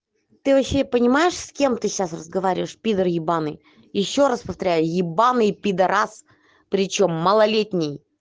ты вообще понимаешь с кем ты сейчас разговариваешь пидар ебаный ещё раз повторяю ебанный пидорас причём малолетний